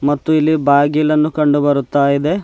ಮತ್ತು ಇಲ್ಲಿ ಬಾಗಿಲನ್ನು ಕಂಡು ಬರುತ್ತಾ ಇದೆ.